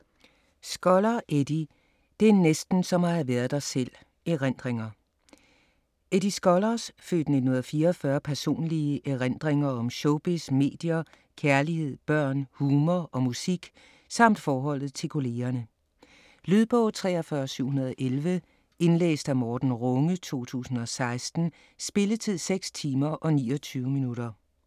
Skoller, Eddie: Det er næsten som at ha' været der selv: erindringer Eddie Skollers (f. 1944) personlige erindringer om showbiz, medier, kærlighed, børn, humor og musik samt forholdet til kollegerne. Lydbog 43711 Indlæst af Morten Runge, 2016. Spilletid: 6 timer, 29 minutter.